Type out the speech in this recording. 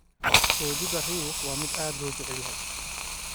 Roodhida riix waa mid aad loo jecel yahay.